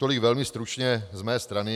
Tolik velmi stručně z mé strany.